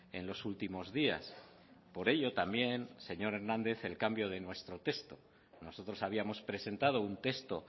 en los últimos días por ello también señor hernández el cambio de nuestro texto nosotros habíamos presentado un texto